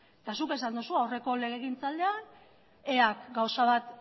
eta zuk esan duzu aurreko legegintzaldian ea k gauza bat